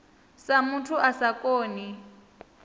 sa muthu a sa koni